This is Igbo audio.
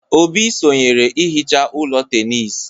Obi sonyeere ihicha ụlọ tenis.